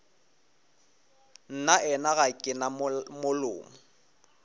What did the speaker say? nnaena ga ke na molomo